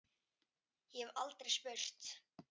Ég hef aldrei spurt.